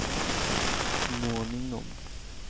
småningom